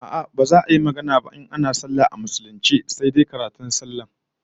A'a, baza a yi magana ba in ana sallah a musulunce sai dai karatun sallar kawai